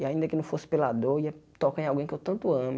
E ainda que eu não fosse pela dor, ia tocar em alguém que eu tanto amo.